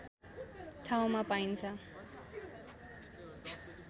ठाउँमा पाइन्छ